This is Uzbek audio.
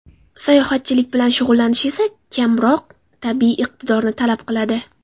Sayohatchilik bilan shug‘ullanish esa kamroq tabiiy iqtidorni talab qiladi.